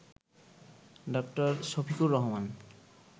ডা. শফিকুর রহমান